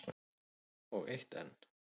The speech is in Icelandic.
Og eitt enn.